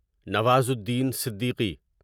Nawazuddin Siddiqui